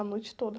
A noite toda.